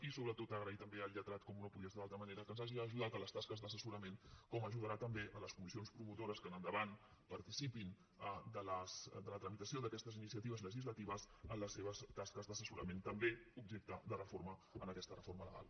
i sobretot agrair també al lletrat com no podia ser d’altra manera que ens hagi ajudat en les tasques d’assessorament com ajudarà també les comissions promotores que en endavant participin en la tramitació d’aquestes iniciatives legislatives en les seves tasques d’assessorament també objecte de reforma en aquesta reforma legal